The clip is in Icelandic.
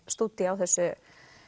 stúdía á þessu